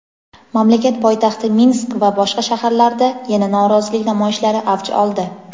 mamlakat poytaxti Minsk va boshqa shaharlarda yana norozilik namoyishlari avj oldi.